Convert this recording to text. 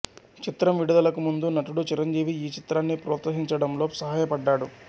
చిత్రం విడుదలకు ముందు నటుడు చిరంజీవి ఈ చిత్రాన్ని ప్రోత్సహించడంలో సహాయపడ్డాడు